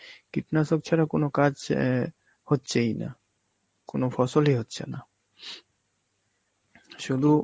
কীটনাশক ছাড়া কোন কাজ অ্যাঁ হচ্ছেই না, কোন ফসলী হচ্ছে না. শুধু